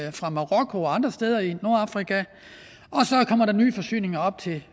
ind fra marokko og andre steder i nordafrika og der nye forsyninger op til